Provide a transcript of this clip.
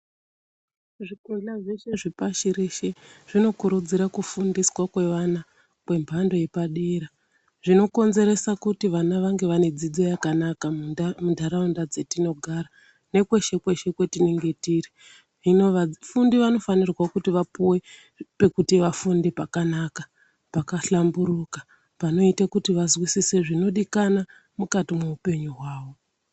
Zvikora zveshe zvepashi rese zvinokurudzira kufundiswa kwevana kwemhando yepadera zvinokonzeresa kuti vana vange vane dzidzo yakanaka muntaraunda dzatinogara nekweshe kweshe kwetinenge tiri hino vafundi vanofanire kuti vapiwe pekuti vafunde pakanaka pakahlamburuka panoita kuti vazwisise zvinodikana mukati muhupenyu hwavo .